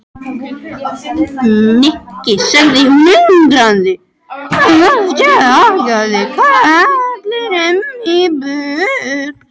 Nikki sagði hún undrandi og stjakaði karlinum í burtu.